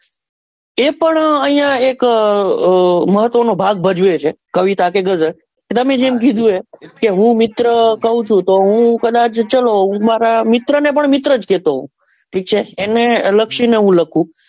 એ પણ અહિયાં એક મહત્વ નો ભાગ્ગ ભજવે છે કવિતા કે ગઝલ તમે જેમ કીધું એ કે હું મિત્ર કહું છું તો હું કદાચ મારા મિત્ર ને પણ મિત્ર જ કેતો હોવ ઠીક છે એને લક્ષી ને લખું.